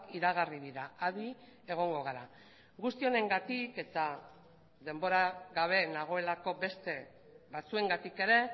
iragarri dira adi egongo gara guzti honengatik eta denbora gabe nagoelako beste batzuengatik ere